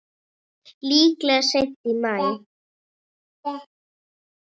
Líklega seint í maí.